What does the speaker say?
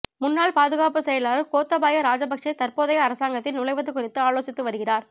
முன்னாள் பாதுகாப்பு செயலாளர் கோத்தபாய ராஜபக்ச தற்போதைய அரசாங்கத்தில் நுழைவது குறித்து ஆலோசித்து வருகிறார்